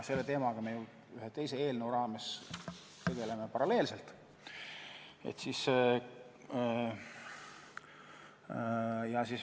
Selle teemaga me ühe teise eelnõu raames tegeleme paralleelselt.